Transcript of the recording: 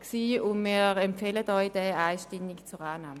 Wir empfehlen Ihnen diesen einstimmig zur Annahme.